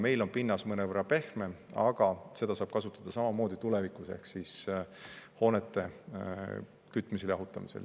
Meil on pinnas mõnevõrra pehmem, aga seda saab kasutada samamoodi tulevikus hoonete kütmisel ja jahutamisel.